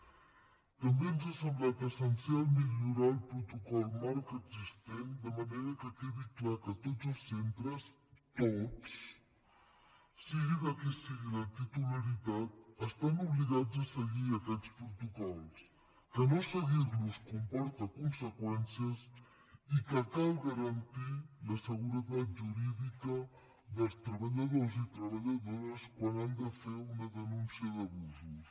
també ens ha semblat essencial millorar el protocol marc existent de manera que quedi clar que tots els centres tots sigui de qui sigui la titularitat estan obligats a seguir aquests protocols que no seguir los comporta conseqüències i que cal garantir la seguretat jurídica dels treballadors i treballadores quan han de fer una denúncia d’abusos